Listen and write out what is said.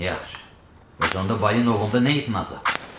Yaxşı, bəs onda Balinovda nə itirən azab?